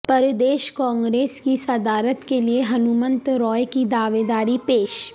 پردیش کانگریس کی صدارت کے لیے ہنمنت رائو کی دعویداری پیش